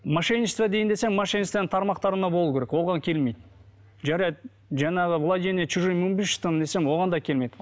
мошенничество дейін десең мошенничествоның тармақтарына болу керек оған келмейді жарайды жаңағы владение чужим имуществом десең оған да келмейді